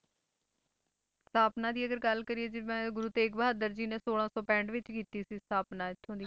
ਸਥਾਪਨਾ ਦੀ ਅਗਰ ਗੱਲ ਕਰੀਏ ਜਿਵੇਂ ਗੁਰੂ ਤੇਗ ਬਹਾਦਰ ਜੀ ਨੇ ਛੋਲਾਂ ਸੌ ਪੈਂਹਠ ਵਿੱਚ ਕੀਤੀ ਸੀ ਸਥਾਪਨਾ ਇੱਥੋਂ ਦੀ।